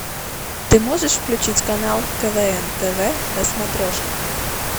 ты можешь включить канал квн тв на смотрешке